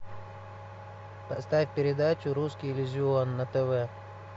поставь передачу русский иллюзион на тв